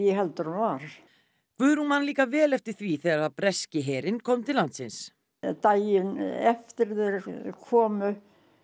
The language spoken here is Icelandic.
heldur en var Guðrún man líka vel eftir því þegar breski herinn kom til landsins daginn eftir að þeir komu